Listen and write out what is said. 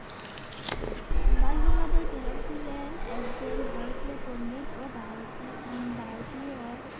বালগঙ্গাধর তিলক ছিলেন একজন ভারতীয় পণ্ডিত ও ভারতীয় হম ভারতীয়